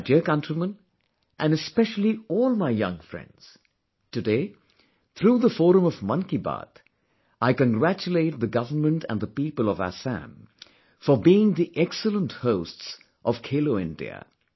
My dear countrymen and especially all my young friends, today, through the forum of 'Mann Ki Baat', I congratulate the Government and the people of Assam for being the excellent hosts of 'Khelo India'